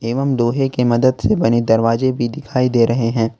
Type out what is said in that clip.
एवं लोहे कि मदद से बने दरवाजे भी दिखाई दे रहे हैं।